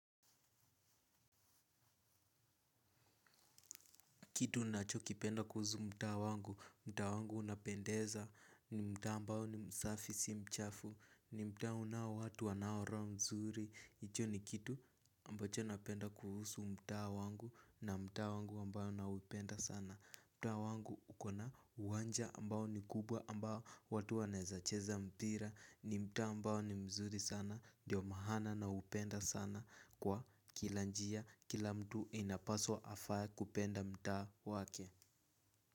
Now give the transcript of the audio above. Kitu nachokipenda kuhusu mtaa wangu, mtaa wangu unapendeza ni mtaa ambao ni msafi si mchafu, ni mtaa unao watu wanao roho mzuri. Hicho ni kitu ambacho napenda kuhusu mtaa wangu na mtaa wangu ambao na upenda sana. Mtaa wangu ukona uwanja ambao ni kubwa ambao watu wanaeza cheza mpira, ni mtaa ambao ni mzuri sana, ndio maana naupenda sana. Kwa kila njia kila mtu anapaswa afae kupenda mtaa wake.